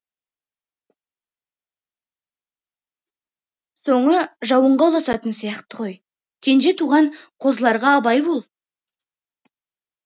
соңы жауынға ұласатын сияқты ғой кенже туған қозыларға абай бол